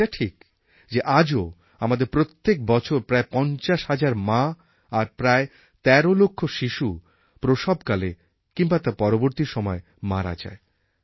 এটা ঠিক যে আজও আমাদের প্রত্যেক বছর প্রায় পঞ্চাশ হাজার মা আর প্রায় তের লক্ষ শিশু প্রসবকালে কিংবা তার পরবর্তী সময়ে মারা যায়